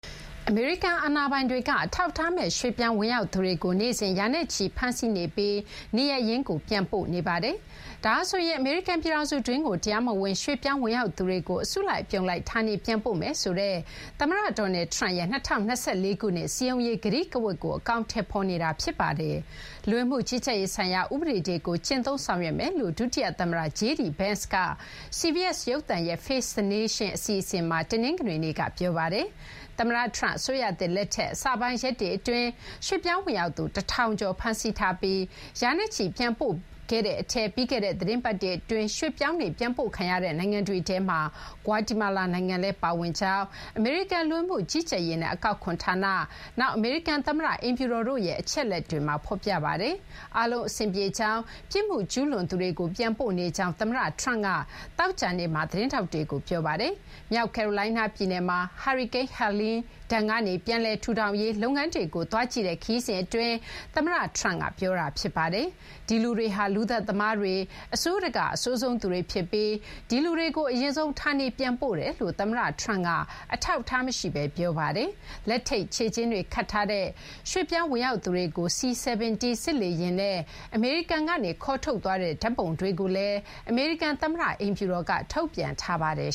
အမေရိကန် အာဏာပိုင်တွေက အထောက်အထားမဲ့ ရွှေ့ပြောင်း ဝင်ရောက်သူတွေကို နေ့စဉ် ရာနဲ့ချီ ဖမ်းဆီးနေပြီး နေရပ်ရင်းကို ပြန်လည်ပို့ဆောင်နေပါတယ်။ ဒါဟာဆိုရင် အမေရိကန် ပြည်ထောင်စုတွင်းကို တရားမဝင် ရွှေ့ပြောင်း ဝင်ရောက်သူတွေကို အစုလိုက် အပြုံလိုက် ဌာနေပြန်ပို့မယ်ဆိုတဲ့ သမ္မတ Donald Trump ရဲ့ ၂၀၂၄ ခုနှစ် စည်းရုံးရေး ကတိကဝတ်ကို အကောင်အထည်ဖော်နေတာ ဖြစ်ပါတယ်။ လူဝင်မှု ကြီးကြပ်ရေးဆိုင်ရာ ဥပဒေတွေကို ကျင့်သုံးဆောင်ရွက်မယ်လို့ ဒုတိယ သမ္မတ JD Vance ကလည်း CBS ရုပ်သံရဲ့ Face the Nation အစီအစဉ်မှာ တနင်္ဂနွေနေ့က ပြောပါတယ်။ သမ္မတ Trump အစိုးရသစ် လက်ထက် အစပိုင်း ရက်တွေ အတွင်း ရွှေ့ပြောင်း ဝင်ရောက်သူ ၁,၀၀၀ ကျော် ဖမ်းဆီးထားပြီး ရာနဲ့ချီ ပြန်ပို့ခဲ့တဲ့ အထဲ ပြီးခဲ့တဲ့ သီတင်းပတ် အတွင်း ရွှေ့ပြောင်းတွေ ပြန်ပို့ခံရတဲ့ နိုင်ငံတွေထဲမှာ ဂွါတီမာလာ နိုင်ငံလည်း ပါဝင်ကြောင်း အမေရိကန် လူဝင်မှုကြီးကြပ်ရေးနဲ့ အကောက်ခွန် ဌာန၊ နောက် အမေရိကန် သမ္မတ အိမ်ဖြူတော်တို့ရဲ့ အချက်အလက်တွေမှာ ဖော်ပြပါတယ်။ အားလုံး အဆင်ပြေကြောင်း၊ ပြစ်မှုကျူးလွန်သူတွေကို ပြန်ပို့နေကြောင်း သမ္မတ Trump က သောကြာနေ့မှာ သတင်းထောက်တွေကို ပြောပါတယ်။ မြောက်ကယ်ရိုလိုင်းနား ပြည်နယ်မှာ ဟာရီကိန်း Helene ဒဏ်ကနေ ပြန်လည် ထူထောင်ရေး လုပ်ငန်းတွေကို သွားကြည့်တဲ့ ခရီးစဉ် အတွင်း သမ္မတ Trump က ပြောတာ ဖြစ်ပါတယ်။ ဒီလူတွေဟာ လူသတ်သမားတွေ၊ အဆိုးတကာ့ အဆိုးဆုံး သူတွေ ဖြစ်ပြီး ဒီလူတွေကို အရင်ဆုံး ဌာနေပြန်ပို့နေတယ်လို့ သမ္မတ Trump က အထောက်အထား မရှိဘဲ ပြောဆိုခဲ့ပါတယ်။ လက်ထိပ် ခြေကျင်းတွေ ခတ်ထားတဲ့ ရွှေ့ပြောင်း ဝင်ရောက်သူတွေကို C-17 စစ်လေယာဉ်နဲ့ အမေရိကန်ကနေ ခေါ်ထုတ်သွားတဲ့ ဓာတ်ပုံတွေကိုလည်း အမေရိကန် သမ္မတ အိမ်ဖြူတော်က ထုတ်ပြန်ထားပါတယ်